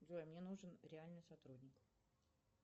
джой мне нужен реальный сотрудник